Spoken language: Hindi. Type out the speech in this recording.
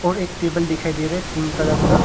और एक टेबल दिखाई दे रहा है पिंक कलर का।